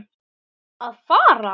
Að farast?